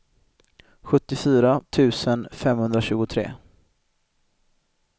sjuttiofyra tusen femhundratjugotre